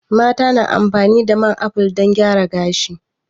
Mata na amfani da man aful don gyara gashi